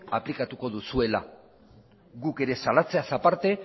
aplikatuko duzuela guk ere salatzeaz aparte